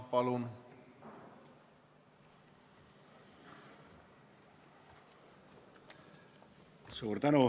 Palun!